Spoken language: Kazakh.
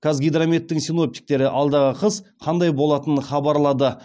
қазгидрометтің синоптиктері алдағы қыс қандай болатынын хабарлады